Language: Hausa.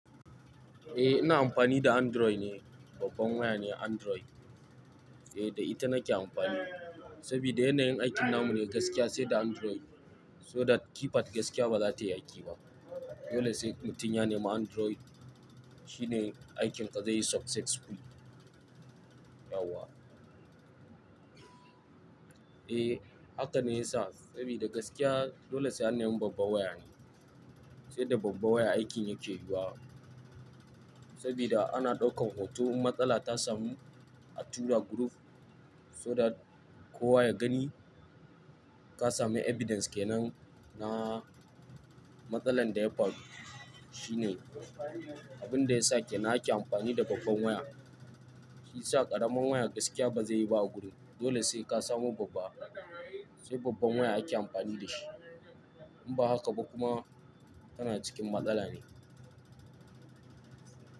Eh ina amfani da Android ne, babban waya ne Android. Eh da ita nake amfani, sabida yanayin aikin namu ne gaskiya, sai da Android, so that keypad gaskiya ba za ta yi aiki ba. Dole sai mutum ya nemi Android, shine aikin ka za yayi successfully Yauwa. Eh haka ne yasa, saboda gaskiya dole sai an nemi babban waya ne, sai da babban waya aikin yake yiwuwa. Saboda ana ɗaukan hoto, in matsala ta samu a tura group so that kowa ya gani, ka sami evidence ke nan na matsalar da ya faru. Shi ne abin da ya sa ke na ake amfani da babban waya. Shi ya sa ƙaramin waya gaskiya ba zai yi ba a gurin. Dole sai ka samu babba, sai babban waya ake amfani da shi. In ba haka ba kuma tana cikin matsala ne.